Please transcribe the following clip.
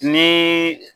Ni